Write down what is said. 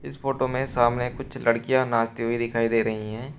Photo में सामने कुछ लड़कियां नाचते हुए दिखाई दे रही हैं।